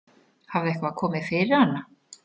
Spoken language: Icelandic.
Hafði eitthvað komið fyrir hana?